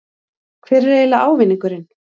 Hver er eiginlega ávinningurinn?